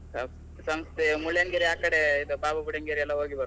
ಸಂಸೆ Mullayanagiri ಆಕಡೆ ಇದು Baba Budangiri ಎಲ್ಲಾ ಹೋಗಿ ಬರುವ.